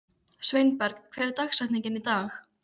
Sveinberg, hver er dagsetningin í dag?